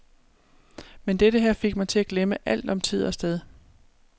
Men dette her fik mig til at glemme alt om tid og sted.